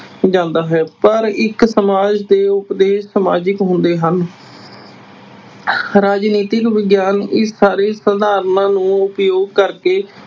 ਜਾਂਦਾ ਹੈ। ਪਰ ਇੱਕ ਸਮਾਜ ਦੇ ਉਪਦੇਸ਼ ਸਮਾਜਿਕ ਹੁੰਦੇ ਹਨ। ਰਾਜਨੀਤਿਕ ਵਿਗਿਆਨ ਇਸ ਸਾਰੇ ਨੂੰ ਉਪਯੋਗ ਕਰਕੇ